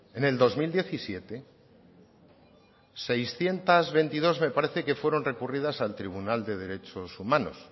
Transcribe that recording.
en el dos mil diecisiete seiscientos veintidós me parece que fueron recurridas al tribunal de derechos humanos